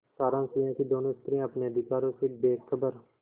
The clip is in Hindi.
सारांश यह कि दोनों स्त्रियॉँ अपने अधिकारों से बेखबर